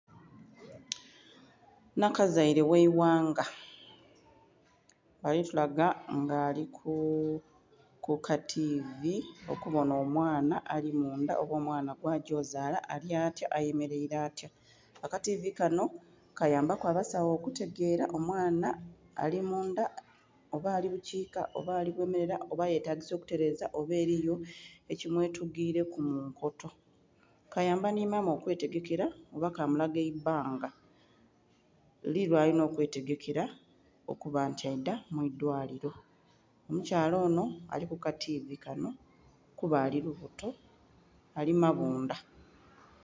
Nhakazeile oghe ghanga, balitulaga nga aliku kativi okubonha omwaana alimundha oba omwaana gwa gyozala alyatya ayemelele atya. Akativi kanho kayambaku abasawo okutegele omwaana ali mundha oba ali bukika oba ali bumela oba yetagisa okuteleza oba eliyo ekimwetugileku munkoto, kayamba nhi maama okwetegekela oba kamulaga aibbanga, li lwalinha okwetegekela kuba nti aidha mwidwaliro, omukyala onho alikuka tivi nho kuba ali lubuto, ali mabudha